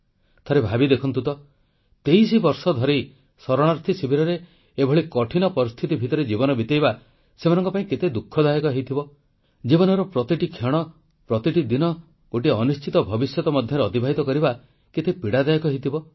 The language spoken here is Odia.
ଥରେ ଭାବି ଦେଖନ୍ତୁ ତ ତେଇଶ ବର୍ଷ ଧରି ଶରଣାର୍ଥୀ ଶିବିରରେ ଏଭଳି କଠିନ ପରିସ୍ଥିତି ଭିତରେ ଜୀବନ ବିତେଇବା ସେମାନଙ୍କ ପାଇଁ କେତେ ଦୁଃଖଦାୟକ ହୋଇଥିବ ଜୀବନର ପ୍ରତି କ୍ଷଣ ପ୍ରତିଟି ଦିନ ଗୋଟିଏ ଅନିଶ୍ଚିତ ଭବିଷ୍ୟତ ମଧ୍ୟ ଅତିବାହିତ କରିବା କେତେ ପୀଡ଼ାଦାୟକ ହୋଇଥିବ